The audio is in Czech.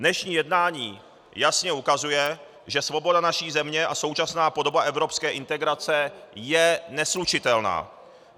Dnešní jednání jasně ukazuje, že svoboda naší země a současná podoba evropské integrace je neslučitelná.